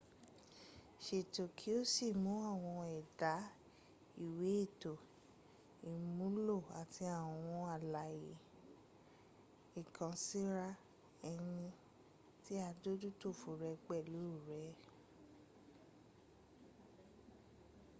sètò kí o sí mú àwọn èdà ìwẹ́ ètò ìmúlò àti àwọn àlàyé ìkànsíra-eni tí adójútòfò rẹ pèlú re